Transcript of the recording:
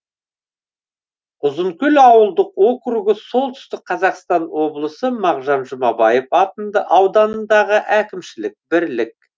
ұзынкөл ауылдық округі солтүстік қазақстан облысы мағжан жұмабаев ауданындағы әкімшілік бірлік